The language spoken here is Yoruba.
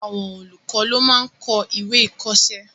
Àwọn olùkọ́ ló máa n kọ́ ìwé-ìkọ̀ọ́sẹ́